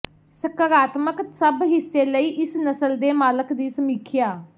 ਸਕਾਰਾਤਮਕ ਸਭ ਹਿੱਸੇ ਲਈ ਇਸ ਨਸਲ ਦੇ ਮਾਲਕ ਦੀ ਸਮੀਖਿਆ